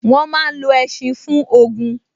Wọ́n máa n lo ẹṣin fún ogun